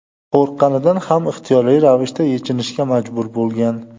qo‘rqqanidan ham ixtiyoriy ravishda yechinishga majbur bo‘lgan.